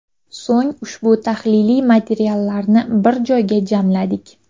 So‘ng ushbu tahliliy materiallarni bir joyga jamladik.